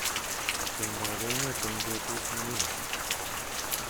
Itondoab emet eng betut neuni